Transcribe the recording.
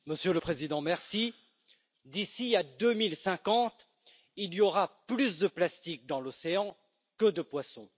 Monsieur le Président, d'ici à 2050, il y aura plus de plastique dans l'océan que de poissons.